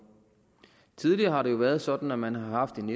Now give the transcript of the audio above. tidligere har det jo været sådan at man har haft en